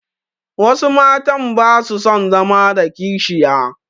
Wasu matan ba su son zama da kishiya.